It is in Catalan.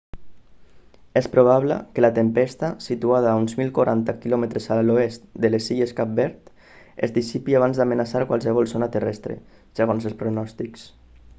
és probable que la tempesta situada a uns 1040 km a l'oest de les illes de cap verd es dissipi abans d'amenaçar qualsevol zona terrestre segons els pronòstics